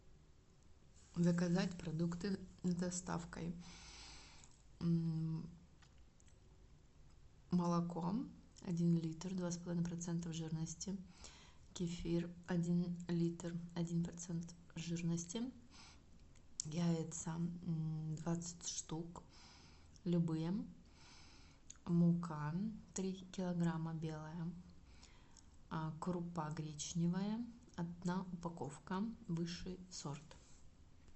заказать продукты с доставкой молоко один литр два с половиной процентов жирности кефир один литр один процент жирности яйца двадцать штук любые мука три килограмма белая крупа гречневая одна упаковка высший сорт